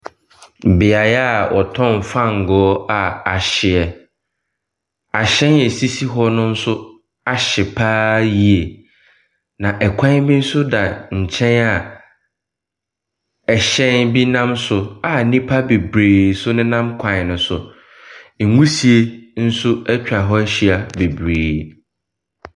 Beaeɛ a ɔtɔn fango a ahyeɛ. Ahyɛn a esisi hɔ no nso ahye paa yie, na ɛkwan bi nso da nkyɛn a ɛhyɛn bi nam so a nipa bebree nso ne nam kwan no so. Nwusie ɛnso ɛtwa hɔ ɛhyia bebree.